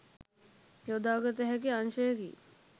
යොදාගත හැකි අංශයකි.